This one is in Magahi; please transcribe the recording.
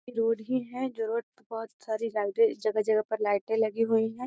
रोड भी हैं जो रोड पे बहुत सारी लाइटें जगह-जगह पर लाइटें लगी हुई हैं।